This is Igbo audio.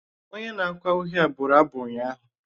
Onye na-akụ ahịhịa bụrụ abụ ụnyaahụ.